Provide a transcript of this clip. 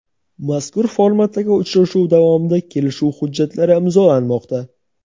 mazkur formatdagi uchrashuv davomida kelishuv hujjatlari imzolanmoqda.